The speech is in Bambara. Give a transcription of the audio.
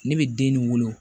Ne bɛ den nin wolo